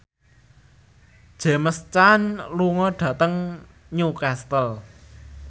James Caan lunga dhateng Newcastle